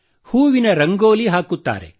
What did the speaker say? ಹೂವಿನ ರಂಗೋಲಿ ಹಾಕುತ್ತಾರೆ